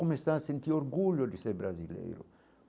Começar a sentir orgulho de ser brasileiro?